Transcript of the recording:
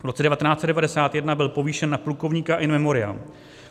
V roce 1991 byl povýšen na plukovníka in memoriam.